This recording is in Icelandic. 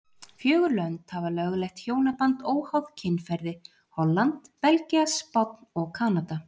Fjögur lönd hafa lögleitt hjónaband óháð kynferði, Holland, Belgía, Spánn og Kanada.